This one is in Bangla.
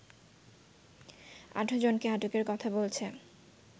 ১৮জনকে আটকের কথা বলছে